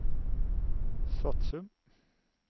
Svatsum